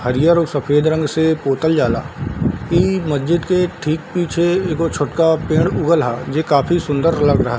हरियर और सफेद रंग से पोतल जाला इ मस्जिद के ठीक पीछे एगो छोटका पेड़ उगल हअ जे काफी सुंदर लग रहल --